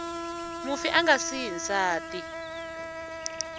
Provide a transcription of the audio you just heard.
mufi a nga siyi nsati